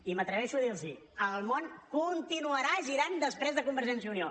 i m’atreveixo a dirlos el món continuarà girant després de convergència i unió